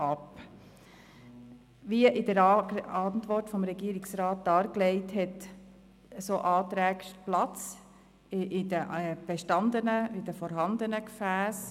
Wie in der Antwort des Regierungsrats dargelegt wird, haben solche Anträge in den vorhandenen Gefässen Platz.